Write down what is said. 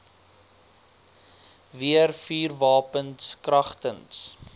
weer vuurwapens kragtens